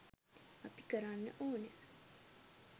අපි කරන්න ඕන